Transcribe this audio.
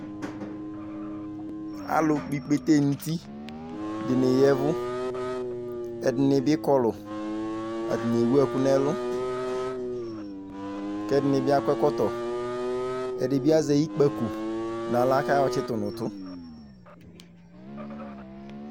Zlʊ kpɔ ɩkpete nʊtɩ dɩnɩ ƴavʊ Ɛdinɩ bɩ kɔlʊ, ɛdɩnɩ bɩ ewʊ ɛkʊ nɛlʊ kɛdinɩ bɩ akɔ ɛkɔtɔ Ɛdɩbɩ azɛ ɩkpako nawla kaƴɔtsɩtʊ nʊtʊ